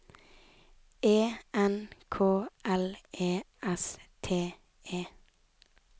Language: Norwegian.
E N K L E S T E